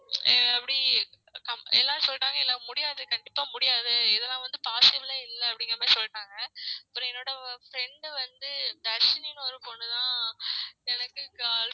எப்படி? எல்லாரும் சொல்லிட்டாங்க இல்ல முடியாது கண்டிப்பா முடியாது இதுலாம் வந்து possible ஏ இல்ல அப்டிங்கற மாதிரி சொல்லிடாங்க அப்ரோ என்னோட friend வந்து தர்ஷினினு ஒரு பொண்ணு தான் எனக்கு